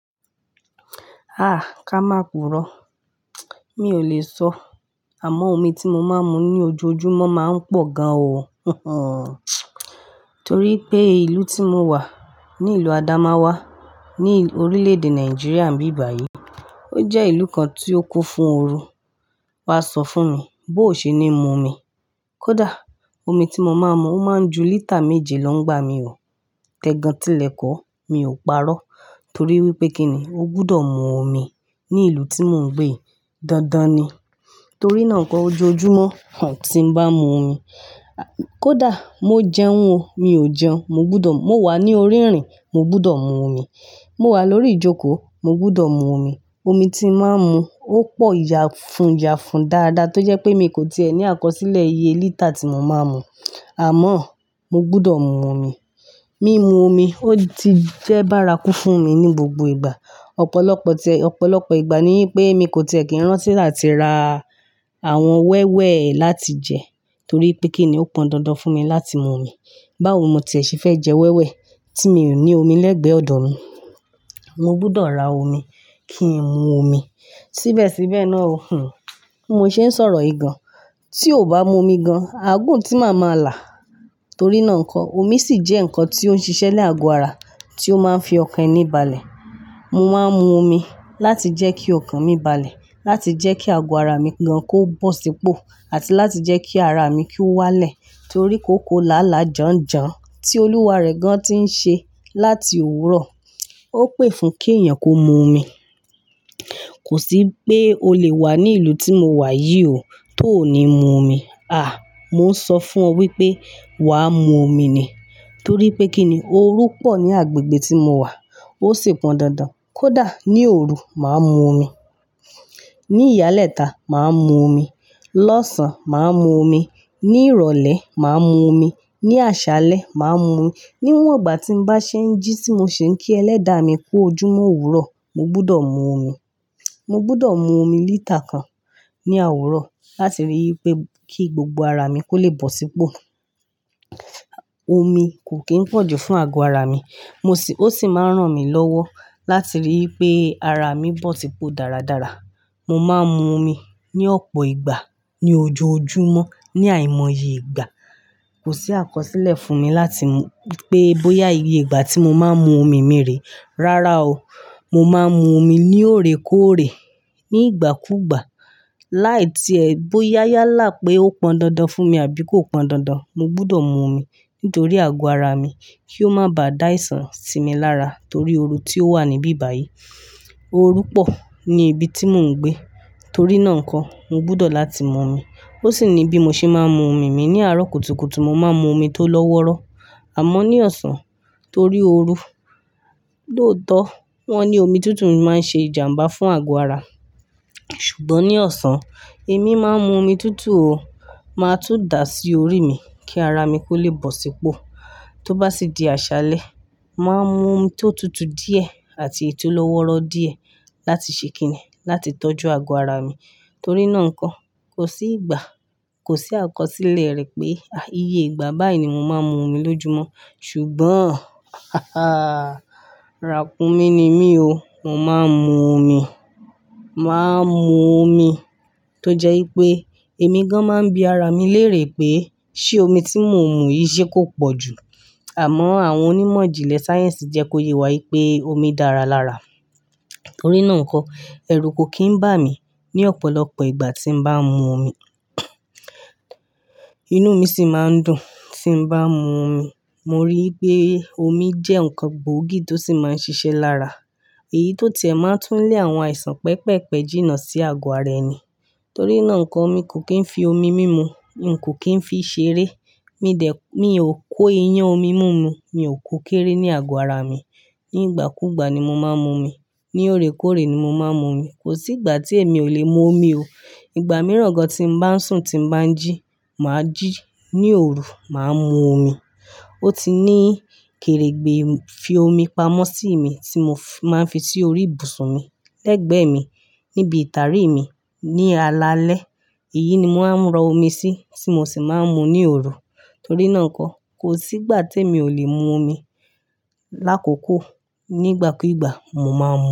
Ah! Ká máa púró. Mi ò lè sọ, àmọ́ omi tí mo máa ń mu ní ojoojúmọ́ máa ń pọ̀ gan o. Torí pé ìlú tí mo wà, ni ìlú Adamawa, ni orílè-èdè Nàìjíríà níbi ìbáyìí. O jẹ́ ìlú kan tí ó kó fún oru. Wà á sọ fún mi bóò ṣe ni mu omi. Kódà omi tí mo máa ń mu, o máa ń ju lítà méje lọ ń gbá mi o. Tẹ gan tílẹ̀ kó, mi ò parọ́ torí wípé kí ni, o gbúdọ̀ mu omi ní ìlú tí mò ń gbé. Dandan ni. Torí náà nkọ, ojoojúmọ́, tí ń bá mu omi, kódà mo jẹun ò, mi ò jẹun, mo gbúdọ̀, mo wà ní orí ìrìn, mo gbúdọ̀ mu omi. Mo wà lórí ìjókòó, mo gbúdọ̀ mu omi. Omi tí màá ń mu, ó pọ̀ yà fún yà fún dáadáa tó jẹ́ pé mi kò ti è ní àkọsílẹ̀ iye lítà tí mo máa ń mu. Àmọ́ mo gbúdọ̀ mu omi. Mímu omi ó ti jẹ́ bárakú fún mi ní gbogbo ìgbà. Ọ̀pọ̀lọpọ̀ tẹ, ọ̀pọ̀lọpọ̀ ìgbà ni pé mi kò ti è kí ń rántí láti ra àwọn wẹ́wẹ́ láti jẹ torí pé kí ni ó pọn dandan fún mi láti mu omi. Báwo mo ti è ṣe fẹ́ jẹ wẹ́wẹ́ tí mi ò ní omi lẹ́gbẹ̀ẹ́ ọ̀dọ̀ mi. Mo gbúdọ̀ ra omi kí n mu omi. Síbẹ̀síbẹ̀ náà o, hhn, mo ṣe ń sọ̀rọ̀ yì gàn. Tí o kò bá mu omi gan, àgùntí màá ma là. Torí náà nkọ, omi sì jẹ́ ǹkan tí ó ń ṣiṣẹ́ lé àgọ́ ara, tí ó máa ń fi ọkàn ẹni balẹ̀. Mo máa ń mu omi láti jẹ́ kí ọkàn mi balẹ̀, láti jẹ́ kí àgọ́ ara mi gan kò bọ̀ sípò àti láti jẹ́ kí ara mi kí ó wá lẹ̀ torí kóko làálàá janjan tí olúwa rẹ̀ gan ti ń ṣe láti òwúrọ̀. O pè fún kí èèyàn kó mu omi. Kò sí pé o lè wà ní ìlú tí mo wà yìí o tó ní mu omi. Ah! Mo ń sọ fún ọ wípé wàá mu omi ni. Torí pé kí ni, oru pọ̀ ní agbègbè tí mo wà. Ó sì pọn dandan. Kódà ní òru, màá mu omi. Ní ìyálẹ́ta, màá mu omi. Lọ́sàn, màá mu omi. Ní ìrọ̀lẹ́, màá mu omi. Ní àṣálẹ́, màá mu omi. Níwọ̀n ìgbà tí ń bá ṣe ń jí tí mo ṣe ń kí ẹlẹ́dàá mi kú ojúmọ́ òwúrọ̀, mo gbúdọ̀ mu omi. Mo gbúdọ̀ mu omi lítà kan ní àwúrọ̀ láti rí i pé kí gbogbo ara mi kó lè bọ̀ sípò. Omi kò kín pọ̀jù fún àgọ́ ara mi. Mo sì, ó sì máa ń ràn mí lọ́wọ́ láti rí i pé ara mi bọ̀ sípò dáradára. Mo máa ń mu omi ní ọ̀pọ̀ ìgbà ní ojoojúmọ́ ní àìmọye ìgbà. Kò sí àkọsílẹ̀ fún mi láti mu, pé bóyá iye ìgbà tí mo máa ń mu omi mi rè. Rárá o. Mo máa ń mu omi ní òòrékóòrè, ní ìgbàkúùgbà. Láì tí ẹ, bóyá yálà pé ó pọn dandan fún mi àbí kò pọn dandan, mo gbúdọ̀ mu omi nítorí àgọ́ ara mi kí ó má bà dá aìsàn sí mi lára torí oru tí ó wà níbí báyìí. Oru pọ̀ ní ibi tí mò ń gbé. Torí náà nkọ, mo gbúdọ̀ láti mu omi. Ó sì ni bí mo ṣe máa ń mu omi mi ní àárọ̀ kùtùkùtù, mo máa ń mu omi tó lọ́wọ́rọ́. Àmọ́ ní ọ̀sán torí oru. Lóòótọ́, wọ́n ní omi tútù máa ń ṣe ìjàǹbá fún àgọ́ ara. Ṣùgbọ́n ní ọ̀sán, èmi máa ń mu omi tútù o, máa tún dà á sí orí mi kí ara mi kó lè bọ̀ sípò. Tó bá sì di àṣálẹ́, màá mu omi tó tutù díẹ̀ àti è tó lọ́wọ́rọ́ díẹ̀ láti ṣe kíni, láti tọ́jú àgọ́ ara mi. Torí náà nkọ, kò sí ìgbà, kò sí àkọsílẹ̀ rẹ̀ pé, ah, iye ìgbà báyìí ni mo máa ń mu omi lójúmọ́. Ṣùgbọ́n, haha ràkúnmí ni mí o. Mo máa ń mu omi. Màá ń mu omi tó jẹ́ wípé èmi gan máa ń bí ara mi lérè pé ṣé omi tí mò ń mu yìí ṣé kó pọ̀jù. Àmọ́ àwọn onímọ̀ ìjìnlẹ̀ sáyẹ́ǹsì jẹ́ kó yè wá wípé omi dára lára. Torí náà nkọ, ẹrú kò kín ń bà mí ní ọ̀pọ̀lọpọ̀ ìgbà tí ń bá ń mu omi. Inú mi sì máa ń dùn tí ń bá ń mu omi. Mo rí i pé omi jẹ́ ǹkan gbóògì tó sì máa ń ṣiṣẹ́ lára. Èyí tó tiẹ̀ máa ń tún lé àwọn àìsàn pẹpẹpe jìnà sí àgọ́ ara ẹni. Torí náà nkọ, mi kò kín ń fi omi mímu, n kò kín ń fi í ṣeré. Mi dẹ̀, mi ò kó iyán omi mú mu, mi ò kó kéré ní àgọ́ ara mi. Ní ìgbàkúùgbà ni mo máa ń mu omi. Ní òrékórè ni mo máa ń mu omi. Kò sí ìgbà tí èmi ò lè mu omi o. Ìgbà mìíràn gan tí ń bá ń sùn, tí ń bá ń jí, màá jí. Ní òru, màá mu omi. Ó ti ní kèrègbè fi omi pamọ́ sí mi tí mo máa ń fi sí orí ìbùsùn mi, lẹ́gbẹ̀ẹ́ mi, níbi ìtàrí mi, ní alalẹ́. Èyí ni màá ń rọ omi sí tí mo sì máa ń mu ní òru. Torí náà nkọ, kò sí ìgbà tí èmi ò lè mu omi. Lákokò, nígbàkúùgbà mo máa ń mu.